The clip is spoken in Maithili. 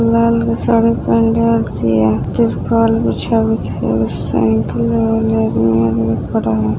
साइकल लगल है।